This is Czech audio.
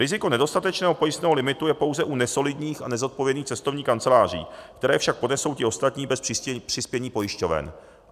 Riziko nedostatečného pojistného limitu je pouze u nesolidních a nezodpovědných cestovních kanceláří, které však ponesou ti ostatní bez přispění pojišťoven.